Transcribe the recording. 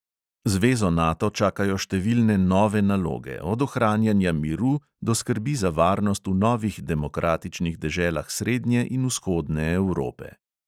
Zvezo nato čakajo številne nove naloge, od ohranjanja miru do skrbi za varnost v novih demokratičnih deželah srednje in vzhodne evrope.